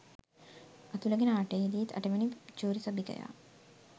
අතුලගේ නාට්‍යයේදිත් අටවෙනි ජූරි සභිකයා